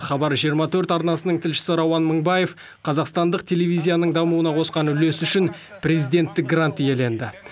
хабар жиырма төрт арнасының тілшісі рауан мыңбаев қазақстандық телевизияның дамуына қосқан үлесі үшін президенттік грант иеленді